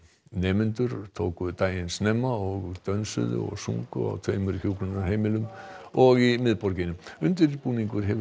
nemendur tóku daginn snemma og dönsuðu og sungu á tveimur hjúkrunarheimilum og í miðborginni undirbúningur hefur